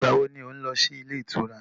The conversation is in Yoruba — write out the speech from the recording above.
Ìgbà wo lo ń lọ sí ilé ìtura?